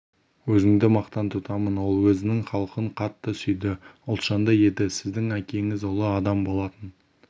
өзіңді мақтан тұтамын ол өзінің халқын қатты сүйді ұлтжанды еді сіздің әкеңіз ұлы адам болатын